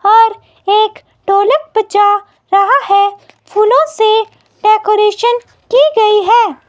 और एक ढोलक बजा रहा है फूलों से डेकोरेशन की गई है।